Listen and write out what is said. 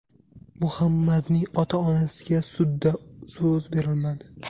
Muhammadning ota-onasiga sudda so‘z berilmadi.